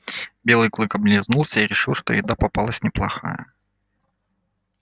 белый клык облизнулся и решил что еда попалась неплохая